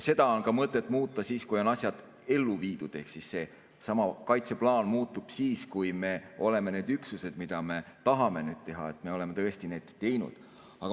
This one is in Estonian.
Seda on mõtet muuta siis, kui on asjad ellu viidud, ehk seesama kaitseplaan muutub siis, kui me oleme need üksused, mida me tahame teha, tõesti teinud.